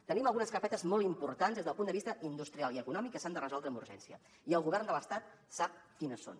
tenim algunes carpetes molt importants des del punt de vista industrial i econòmic que s’han de resoldre amb urgència i el govern de l’estat sap quines són